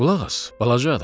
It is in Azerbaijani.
Qulaq as, balaca adam!